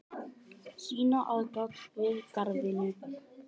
sýna aðgát við garðvinnu